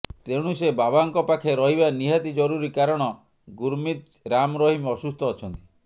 ତେଣୁ ସେ ବାବାଙ୍କ ପାଖେ ରହିବା ନିହାତି ଜରୁରୀ କାରଣ ଗୁରମିତ ରାମରହିମ ଅସୁସ୍ଥ ଅଛନ୍ତି